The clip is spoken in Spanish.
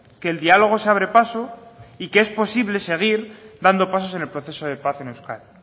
que el diálogo se abre paso y que es posible seguir dando pasos en el proceso de paz en euskadi